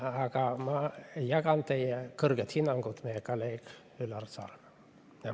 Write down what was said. Aga ma jagan teie kõrget hinnangut meie kolleegi Üllar Saaremäe kohta.